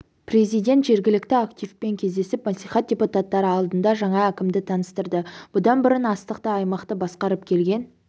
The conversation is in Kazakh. президент жергілікті активпен кездесіп мәслихат депутаттары алдында жаңа әкімді таныстырды бұдан бұрын астықты аймақты басқарып келген